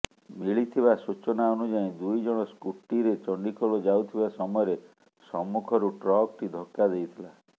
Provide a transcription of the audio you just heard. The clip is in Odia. ମିଳିଥିବା ସୂଚନା ଅନୁଯାୟୀ ଦୁଇ ଜଣ ସ୍ମୁଟିରେ ଚଣ୍ଡିଖୋଲ ଯାଉଥିବା ସମୟରେ ସମ୍ମୁଖରୁ ଟ୍ରକଟି ଧକ୍କା ଦେଇଥିଲା